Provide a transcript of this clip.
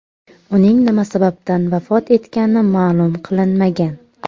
Uning nima sababdan vafot etgani ma’lum qilinmagan.